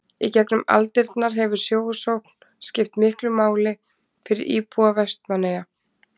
í gegnum aldirnar hefur sjósókn skipt miklu máli fyrir íbúa vestmannaeyja